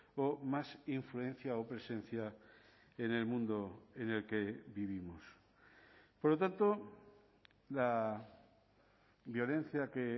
o más influencia o presencia en el mundo en el que vivimos por lo tanto la violencia que